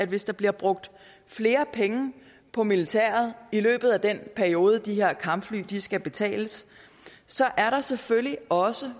hvis der bliver brugt flere penge på militæret i løbet af den periode hvor de her kampfly skal betales så selvfølgelig også